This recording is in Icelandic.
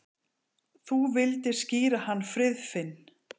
Þú vildir skíra hann Friðfinn.